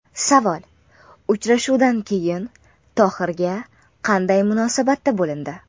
Savol: Uchrashuvdan keyin Tohirga qanday munosabatda bo‘lindi?